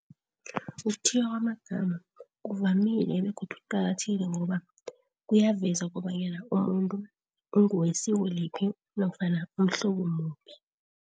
Ukuthiywa kwamagama kuvamile begodu kuqakathekile ngokobana kuyaveza kobanyana umuntu ungowesiko liphi, nofana umhlobo muphi.